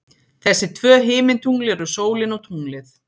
Þessi tvö himintungl eru sólin og tunglið.